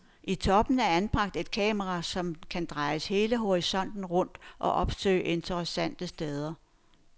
I toppen er anbragt et kamera, som kan drejes hele horisonten rundt og opsøge interessante steder.